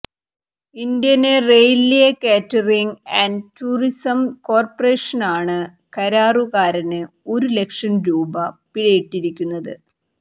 Indian railway catering and tourism കോര്പറേഷനാണ് കരാറുകാരന് ഒരു ലക്ഷം രൂപ പിഴയിട്ടിരിക്കുന്നത്